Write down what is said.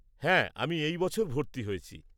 হ্যাঁ, আমি এই বছর ভর্তি হয়েছি।